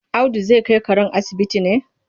Audu zai kai karen asibiti ne?